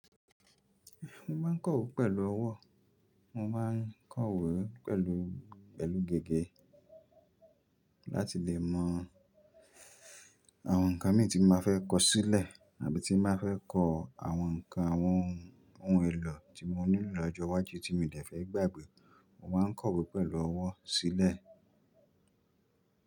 Mo ma n kọ̀wé pẹ̀lú ọwọ́, mo ma n kọ̀wé pẹ̀lú gègé láti lè mọ àwọn ǹkan mii tí má fẹ́ kọ sílẹ̀ àbí tí màá fẹ́ kọ àwọn ǹkan àwọn ohun èlò tí mo nílò lọ́jọ́ iwájú tí mi ò dee fẹ́ gbàgbé. Mo ma n kọ̀wé pẹ̀lú ọwọ́ sílẹ̀.